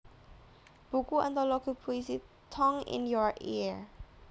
Buku Antologi Puisi Tongue in Your Ear